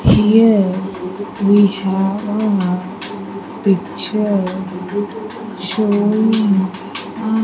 Here we have a picture showing --